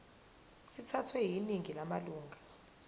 sithathwe yiningi lamalunga